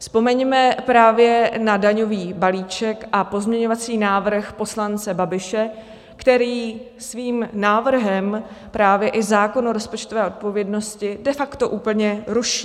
Vzpomeňme právě na daňový balíček a pozměňovací návrh poslance Babiše, který svým návrhem právě i zákon o rozpočtové odpovědnosti de facto úplně ruší.